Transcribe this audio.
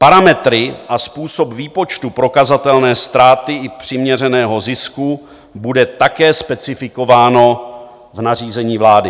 Parametry a způsob výpočtu prokazatelné ztráty i přiměřeného zisku budou také specifikovány v nařízení vlády.